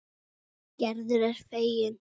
Gerður er fegin.